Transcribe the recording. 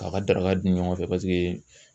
K'a ka daraka dun ɲɔgɔn fɛ